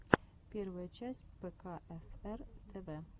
первая часть пэкаэфэр тэвэ